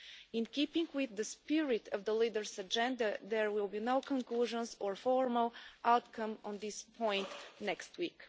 In keeping with the spirit of the Leaders' Agenda, there will be no conclusions or formal outcome on this point next week.